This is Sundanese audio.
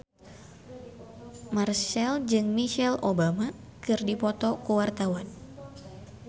Marchell jeung Michelle Obama keur dipoto ku wartawan